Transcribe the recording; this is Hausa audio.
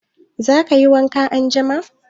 Za ka yi wanka anjima?